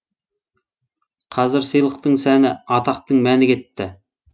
қазір сыйлықтың сәні атақтың мәні кетті